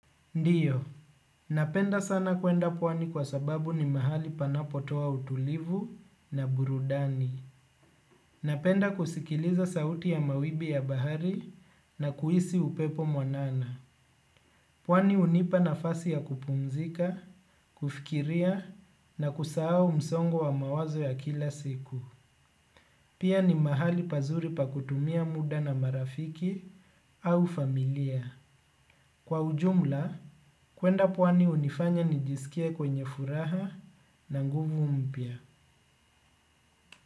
Ndio, napenda sana kuenda pwani kwa sababu ni mahali panapotoa utulivu na burudani. Napenda kusikiliza sauti ya mawimbi ya bahari na kuhisi upepo mwanana. Pwani hunipa nafasi ya kupumzika, kufikiria na kusahao msongo wa mawazo ya kila siku. Pia ni mahali pazuri pa kutumia muda na marafiki au familia. Kwa ujumla, kwenda pwani hunifanya nijisikie mwenye furaha na nguvu mpya.